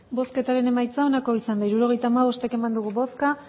hirurogeita hamabost eman dugu bozka